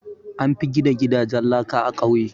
An fi gina gidajen laka a ƙauye.